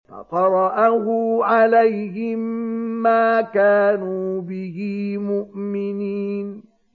فَقَرَأَهُ عَلَيْهِم مَّا كَانُوا بِهِ مُؤْمِنِينَ